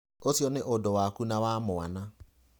Ũcio nĩ ũndũ waku na wa mwana.